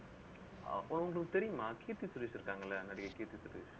அப்ப உங்களுக்கு தெரியுமா கீர்த்தி சுரேஷ் இருக்காங்கல்ல, நடிகை கீர்த்தி சுரேஷ்